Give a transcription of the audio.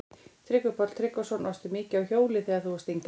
Tryggvi Páll Tryggvason: Varstu mikið á hjóli þegar þú varst yngri?